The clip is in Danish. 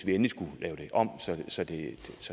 endelig skulle lave det om så det